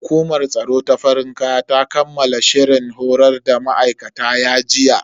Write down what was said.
Hukumar tsaro ta farin kaya ta kammala shirin horar da ma'aikatan ya jiya.